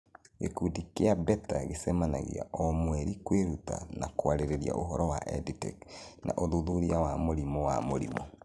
Gĩkundi kĩa BETER gĩcemanagia o mweri kwĩruta na kwarĩrĩria ũhoro wa EdTech na ũthuthuria wa mũrimũ wa mũrimũ.